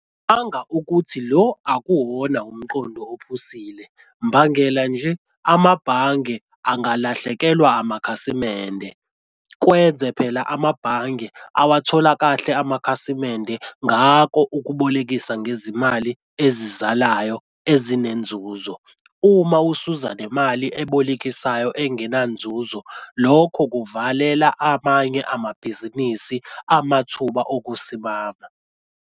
ukuthi lo akuwona umqondo ophusile. Mbangela nje amabhange angakalahlekelwa amakhasimende kwenze phela amabhange awathola kahle amakhasimende ngako okubolekisa ngezimali ezizalayo ezinenzuzo. Uma usuza nemali ebolekisayo engenanzuzo, lokho kuvalela abanye amabhizinisi amathuba okusimama.